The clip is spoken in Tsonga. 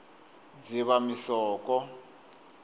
dzivamisoko